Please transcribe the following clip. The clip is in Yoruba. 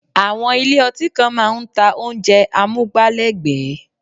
Àwọn ilé ọtí kan máa ń ta oúnjẹ amúgbálẹ́gbẹ̀ẹ́